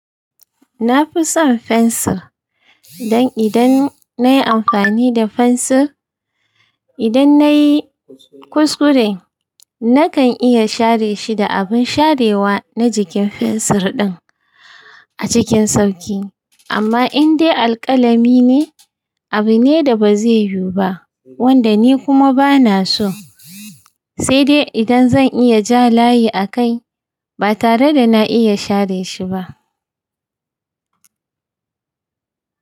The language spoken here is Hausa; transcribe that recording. Na fi son fensir, dan idan nayi amfani da fensir, idan nayi kuskure nakan iya share shi da abun sharewa na jikin fensir din a cikin sauki. Amma indai alƙalami ne, abu ne da ba zai yiwu ba wanda ni kuma bana so, sai dai idan zan iya ja layi a kai ba tare da na iya share shi ba.